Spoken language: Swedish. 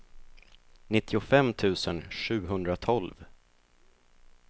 nittiofem tusen sjuhundratolv